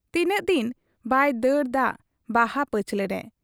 ᱛᱤᱱᱟᱹᱜ ᱫᱤᱱ ᱵᱟᱭ ᱫᱟᱹᱲ ᱫᱟᱜ ᱵᱟᱦᱟ ᱯᱟᱹᱪᱷᱞᱟᱹ ᱨᱮ ᱾